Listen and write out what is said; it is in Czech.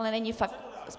Ale není faktická.